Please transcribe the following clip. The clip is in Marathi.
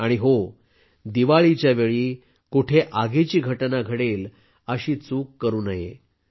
आणि हो दिवाळीच्या वेळी कुठे आगीची घटना घडेल अशी चूक करू नये